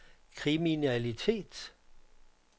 kriminalitet